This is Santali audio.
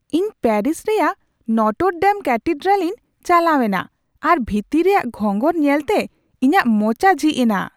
ᱤᱧ ᱯᱮᱨᱤᱥ ᱨᱮᱭᱟᱜ ᱱᱚᱴᱚᱨᱼᱰᱮᱢ ᱠᱮᱛᱷᱮᱰᱨᱟᱞ ᱤᱧ ᱪᱟᱞᱟᱣ ᱮᱱᱟ ᱟᱨ ᱵᱷᱤᱛᱤᱨ ᱨᱮᱭᱟᱜ ᱜᱷᱚᱸᱜᱚᱨ ᱧᱮᱞᱛᱮ ᱤᱧᱟᱹᱜ ᱢᱚᱪᱟ ᱡᱷᱤᱡ ᱮᱱᱟ ᱾